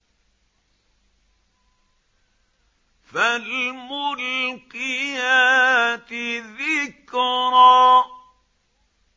فَالْمُلْقِيَاتِ ذِكْرًا